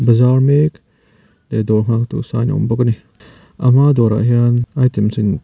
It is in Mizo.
bazar mek leh dawr nghaktu an awm bawk a ni a hma dawrah hian item chi--